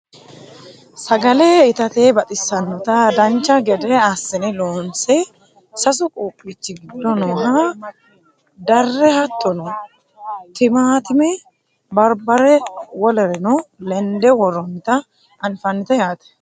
Sagale itate baxissannota dancha gede assine loonse sasu quuphichi giddo nooha darre hattono timaattime barbare wolereno lende worroonnita anfannite yaate